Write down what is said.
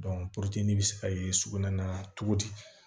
bɛ se ka ye sugunɛ na cogo di